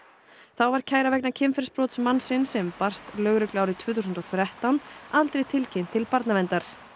þá var kæra vegna kynferðisbrots mannsins sem barst lögreglu árið tvö þúsund og þrettán aldrei tilkynnt til barnaverndar